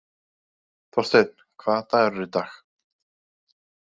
Þórsteinn, hvaða dagur er í dag?